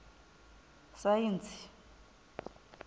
saintsi